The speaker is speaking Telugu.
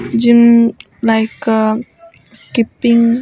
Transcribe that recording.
gym like skipping --